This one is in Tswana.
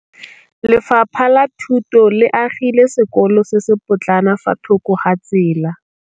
Lefapha la Thuto le agile sekôlô se se pôtlana fa thoko ga tsela.